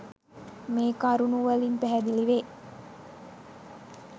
මේ කරුණු වලින් පැහැදිලිවේ.